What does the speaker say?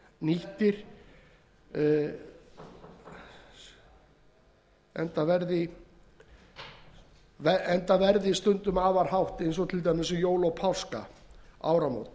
best verð gefa verði nýttir enda verð stundum afar hátt til dæmis um jól og áramót og